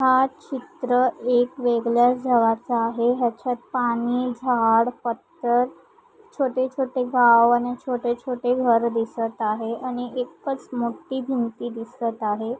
हा एक चित्र एका वेगळ्या झराचा आहे हयाच्यात पाणी झाड पथर छोटे-छोटे गाव आणि छोटे-छोटे घर दिसत आहे आणि एकच मोठी भिंती दिसत आहे.